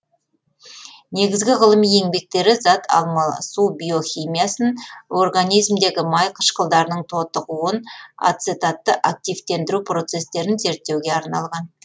негізгі ғылыми еңбектері зат алмасу биохимиясын организмдегі май қышқылдарының тотығуын ацетатты активтендіру процестерін зерттеуге арналған